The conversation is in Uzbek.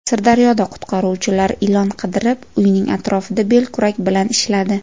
Sirdaryoda qutqaruvchilar ilon qidirib, uyning atrofida belkurak bilan ishladi.